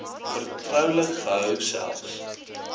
vertroulik gehou selfs